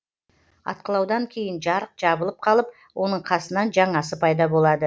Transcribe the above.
атқылаудан кейін жарық жабылып қалып оның қасынан жаңасы пайда болады